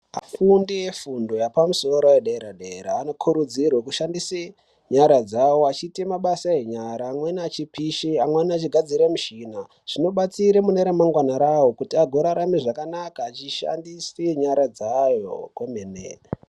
Fundo yefundo yepamusoro yedera dera vanokurudzirwa kushandisa nyara dzavo vachiita mabasa enyara amweni achipishe amweni achigadzire muchina .Zvibatsira mune ramangwana rayo kuti agorarame zvakanaka achishandise nyara dzawo kwomene